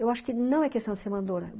Eu acho que não é questão de ser mandora.